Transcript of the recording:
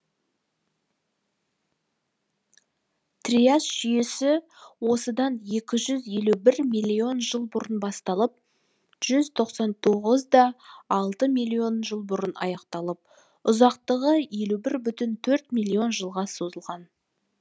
триас жүйесі осыдан екі жүз елу бір миллион жыл бұрын басталып жүз тоқсан тоғызда алты миллион жыл бұрын аяқталып ұзақтығы елу бірде төрт миллион жылға созылған